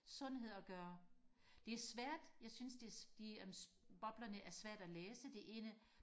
sundhed og gøre det er svært jeg synes det de boblerne er svære og læse det ene